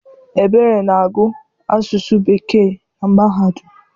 Ebere na-agụ Asụsụ Bekee na mahadum.